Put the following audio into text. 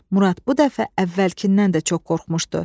Murad bu dəfə əvvəlkindən də çox qorxmuşdu.